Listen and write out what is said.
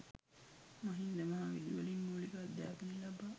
මහින්ද මහ විදුහලින් මුලික අධ්‍යාපනය ලබා